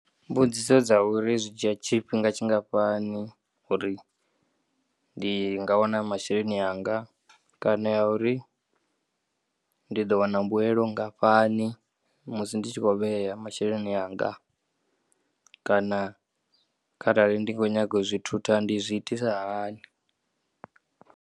Mbudziso dzauri zwidzhiya tshifhinga tshingafhani uri ndinga wana masheleni anga kana yauri ndi ḓowana mbuelo nngafhani musi ndi tshi khou vheya masheleni anga kana kharali ndi kho nyaga u zwi thutha ndi zwiitisa hani.